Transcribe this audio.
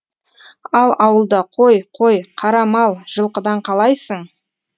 ал ауылда қой қой қара мал жылқыдан қалайсың